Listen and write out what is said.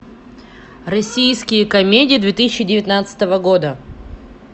российские комедии две тысячи девятнадцатого года